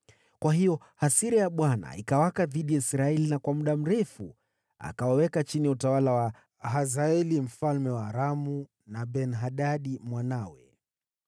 Kwa hiyo hasira ya Bwana ikawaka dhidi ya Israeli na kwa muda mrefu akawaweka chini ya utawala wa Hazaeli mfalme wa Aramu, na Ben-Hadadi mwanawe.